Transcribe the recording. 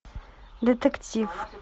детектив